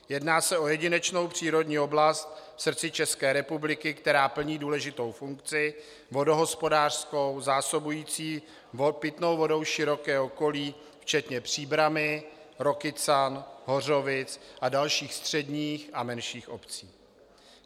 Jedná se o jedinečnou přírodní oblast v srdci České republiky, která plní důležitou funkci vodohospodářskou, zásobující pitnou vodou široké okolí včetně Příbrami, Rokycan, Hořovic a dalších středních a menších obcí.